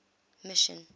mission